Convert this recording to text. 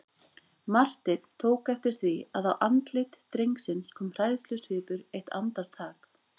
Marteinn tók eftir því að á andlit drengsins kom hræðslusvipur eitt andartak.